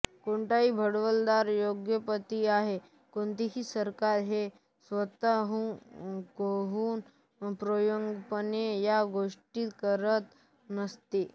कोणताही भांडवलदार उद्योगपती आणि कोणतेही सरकार हे स्वतः होऊन स्वयंप्रेरणेने या गोष्टी करत नसते